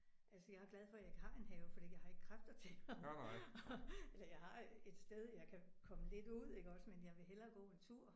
altså jeg er glad for jeg ikke har en have fordi jeg har ikke kræfter til at at eller jeg har et sted jeg kan komme lidt ud iggås men jeg vil hellere gå en tur